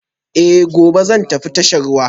Eh, gobe zan tafi tashar ruwa